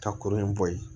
Ka kurun in bɔ yen